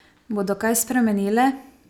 Bodo kaj spremenile?